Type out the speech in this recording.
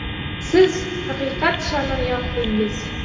Siz haqiqat shamini yoqdingiz.